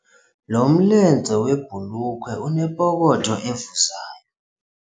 Lo mlenze webhulukhwe unepokotho evuzayo.